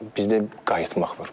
Bizdə qayıtmaq var.